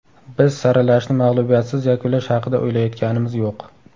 Biz saralashni mag‘lubiyatsiz yakunlash haqida o‘ylayotganimiz yo‘q.